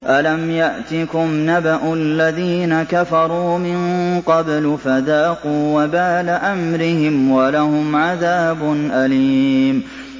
أَلَمْ يَأْتِكُمْ نَبَأُ الَّذِينَ كَفَرُوا مِن قَبْلُ فَذَاقُوا وَبَالَ أَمْرِهِمْ وَلَهُمْ عَذَابٌ أَلِيمٌ